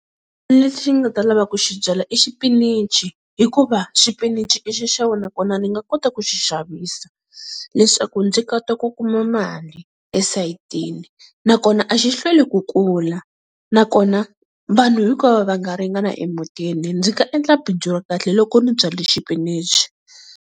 Lexi nga ta lava ku xi byala i xipinichi hikuva xipinichi i xixevo nakona ni nga kota ku xi xavisa, leswaku ndzi kota ku kuma mali esayitini, nakona a xi hlweli ku kula nakona vanhu hinkwavo va nga ringana emutini. Ndzi nga endla bindzu ra kahle loko ni byali xipinichi.